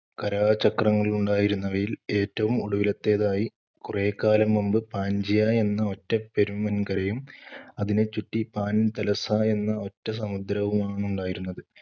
കരാചക്രങ്ങളുണ്ടായിരുന്നവയിൽ ഏറ്റവും ഒടുവിലത്തേതായി കുറെക്കാലം മുമ്പ് പാൻ‌ജിയ എന്ന ഒറ്റ പെരും വൻകരയും അതിനെ ചുറ്റി പാൻതലസ എന്ന ഒറ്റ സമുദ്രവുമാണുണ്ടായിരുന്നത്.